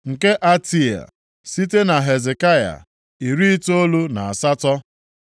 nke Atea (site na Hezekaya), iri itoolu na asatọ (98),